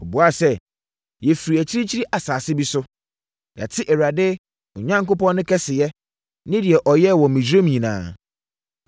Wɔbuaa sɛ, “Yɛfiri akyirikyiri asase bi so. Yɛate Awurade, mo Onyankopɔn no kɛseyɛ ne deɛ ɔyɛɛ wɔ Misraim nyinaa.